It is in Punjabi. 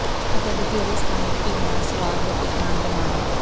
ਅਤੇ ਵਧੇਰੇ ਸਥਾਨਕ ਭੀੜ ਨਾਲ ਸਵਾਰ ਹੋ ਕੇ ਆਨੰਦ ਮਾਣੋ